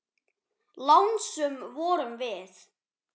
Lánsöm vorum við.